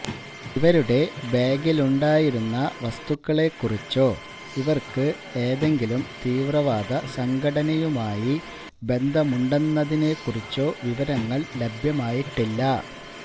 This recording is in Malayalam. ഇവരുടെ ബാഗിലുണ്ടായിരുന്ന വസ്തുക്കളെക്കുറിച്ചോ ഇവര്ക്ക് ഏതെങ്കിലും തീവ്രവാദ സംഘടനയുമായി ബന്ധമുണ്ടെന്നതിനെക്കുറിച്ചോ വിവരങ്ങള് ലഭ്യമായിട്ടില്ല